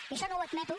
i això no ho admeto